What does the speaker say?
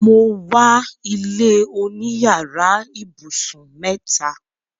Mo wà ilẹ̀ oní yàrà ibusun mẹta.